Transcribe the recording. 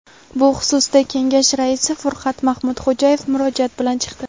Bu xususda kengash raisi Furqat Mahmudxo‘jayev murojaat bilan chiqdi.